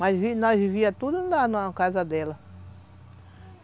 nós nós vivíamos tudo na na casa dela.